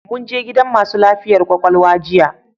Mun je gidan masu lafiyar kwakwalwa jiya